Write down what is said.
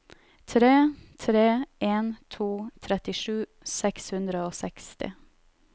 tre tre en to trettisju seks hundre og seksti